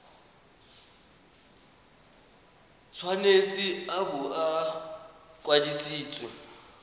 tshwanetse a bo a kwadisitswe